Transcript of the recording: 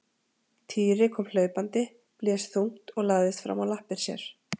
Týri kom hlaupandi, blés þungt og lagðist fram á lappir sér.